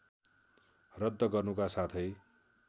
रद्द गर्नुका साथै